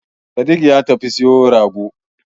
Sadik ya tafi siyo rago